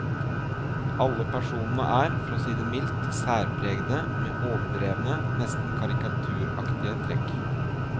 Alle personene er, for å si det mildt, særpregede, med overdrevne, nesten karikaturaktige trekk.